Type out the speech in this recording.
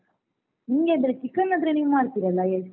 ಹೌದಾ ನಿಮ್ಗೆ ಅಂದ್ರೆ chicken ಆದ್ರೆ ನೀವು ಮಾಡ್ತಿರಲ್ಲ highest ?